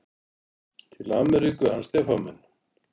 Til Ameríku, hann Stefán minn.